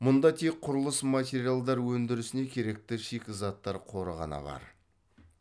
мұнда тек құрылыс материалдар өндірісіне керекті шикізаттар қоры ғана бар